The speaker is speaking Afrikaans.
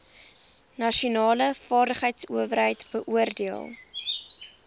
nasionale vaardigheidsowerheid beoordeel